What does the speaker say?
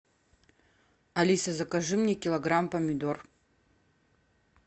алиса закажи мне килограмм помидор